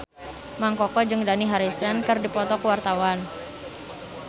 Mang Koko jeung Dani Harrison keur dipoto ku wartawan